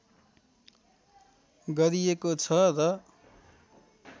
गरिएको छ र